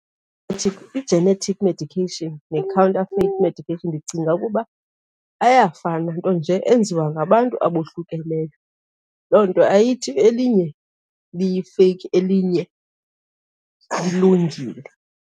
I-genetic medication ne-counterfeit medication ndicinga ukuba ayafana, nto nje enziwa ngabantu abohlukeneyo. Loo nto ayithi elinye liyifeyiki, elinye lilungile.